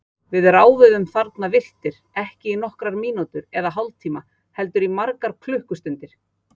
Við ráfuðum þarna villtir, ekki í nokkrar mínútur eða hálftíma heldur margar klukkustundir.